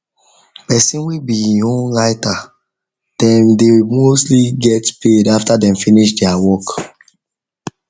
person way be him own writer dem dey mostly get paid after dem finish there work